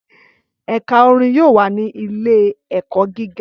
Ẹka orin yoo wa ni Ile-ẹkọ giga